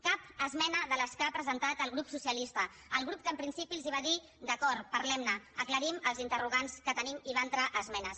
cap esmena de les que ha presentat el grup socialista el grup que en principi els va dir d’acord parlem ne aclarim els interrogants que tenim i va entrar esmenes